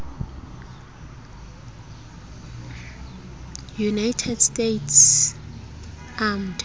united states armed